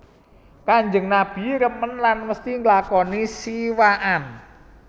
Kanjeng Nabi remen lan mesti nglakoni siwakan